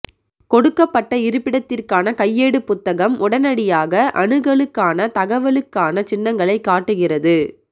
கொடுக்கப்பட்ட இருப்பிடத்திற்கான கையேடுப் புத்தகம் உடனடியாக அணுகலுக்கான தகவலுக்கான சின்னங்களை காட்டுகிறது